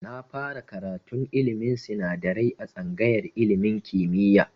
Na fara karatun ilmin sinadarai a tsangayar ilmin kimiya